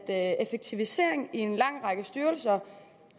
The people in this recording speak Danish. at effektivisering i en lang række styrelser